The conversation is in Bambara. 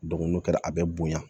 n'o kɛra a bɛ bonya